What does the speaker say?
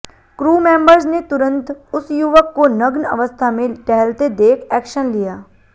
crew members ने तुरंत उस युवक को नग्न अवस्था में टहलते देख एक्शन लिया